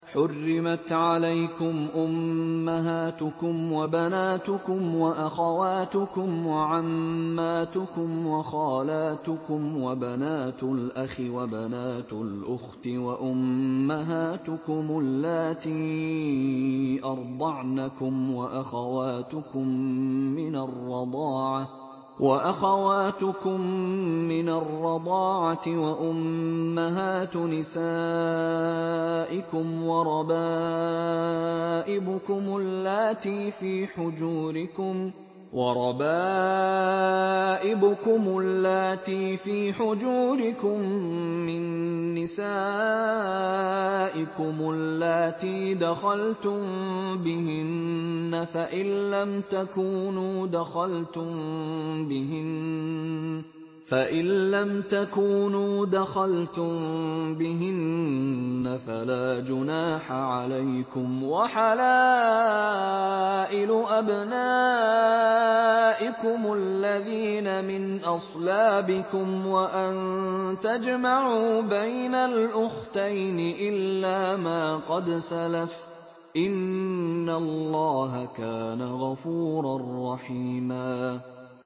حُرِّمَتْ عَلَيْكُمْ أُمَّهَاتُكُمْ وَبَنَاتُكُمْ وَأَخَوَاتُكُمْ وَعَمَّاتُكُمْ وَخَالَاتُكُمْ وَبَنَاتُ الْأَخِ وَبَنَاتُ الْأُخْتِ وَأُمَّهَاتُكُمُ اللَّاتِي أَرْضَعْنَكُمْ وَأَخَوَاتُكُم مِّنَ الرَّضَاعَةِ وَأُمَّهَاتُ نِسَائِكُمْ وَرَبَائِبُكُمُ اللَّاتِي فِي حُجُورِكُم مِّن نِّسَائِكُمُ اللَّاتِي دَخَلْتُم بِهِنَّ فَإِن لَّمْ تَكُونُوا دَخَلْتُم بِهِنَّ فَلَا جُنَاحَ عَلَيْكُمْ وَحَلَائِلُ أَبْنَائِكُمُ الَّذِينَ مِنْ أَصْلَابِكُمْ وَأَن تَجْمَعُوا بَيْنَ الْأُخْتَيْنِ إِلَّا مَا قَدْ سَلَفَ ۗ إِنَّ اللَّهَ كَانَ غَفُورًا رَّحِيمًا